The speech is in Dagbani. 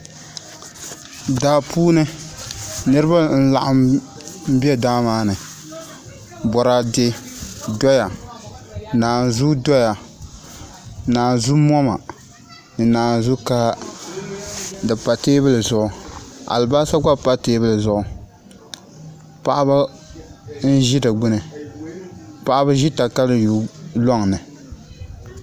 Daa puuni niraba n laɣam bɛ daa maa ni boraadɛ doya naanzuu doya naanzu moma ni naanzu kaha di pa teebuli zuɣu alibarisa gba pa teebuli zuɣu paɣaba n ʒi di kbuni paɣaba ʒi katayuu loŋni